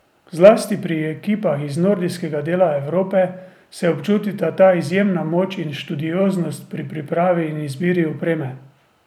Zlasti pri ekipah iz nordijskega dela Evrope se občutita ta izjemna moč in študioznost pri pripravi in izbiri opreme.